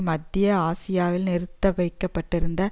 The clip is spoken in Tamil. மத்திய ஆசியாவில் நிறுத்த வைகபட்டிருந்த